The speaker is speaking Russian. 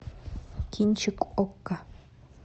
кинчик окко